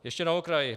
Ještě na okraj.